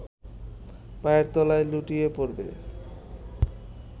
পায়ের তলায় লুটিয়ে পড়বে